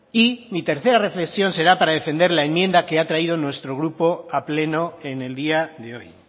y mi tercera reflexión será para defender la enmienda que ha traído nuestro grupo a pleno en el día de hoy